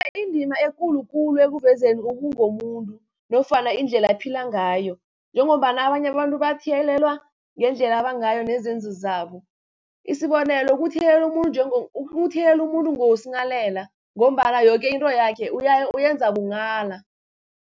Indima ekulukulu ekuvezeni okungomuntu nofana indlela akuphila ngayo, njengombana abanye abantu bathiyelelwa ngendlela abangayo nezenzo zabo. Isibonelo, ukuthiyelela umuntu ngoSinghalela ngombana yoke into yakhe uyenza bunghala.